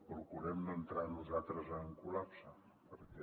procurem no entrar nosaltres en col·lapse perquè